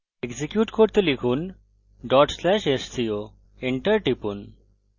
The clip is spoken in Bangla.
execute করতে লিখুন/sco enter টিপুন